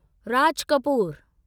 Raj Kapoor